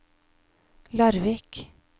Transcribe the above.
Larvik